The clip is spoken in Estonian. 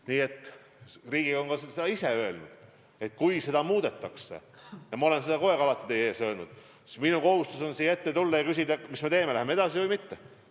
Nii et Riigikogu on seda ka ise öelnud, et kui seda muudetakse – ja ma olen seda alati teie ees öelnud –, siis minu kohustus on siia ette tulla ja küsida, mis me teeme, kas läheme edasi või mitte.